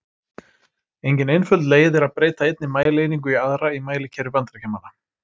Engin einföld leið er að breyta einni mælieiningu í aðra í mælikerfi Bandaríkjamanna.